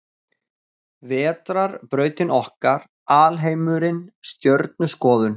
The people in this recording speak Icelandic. Vetrarbrautin okkar Alheimurinn Stjörnuskoðun.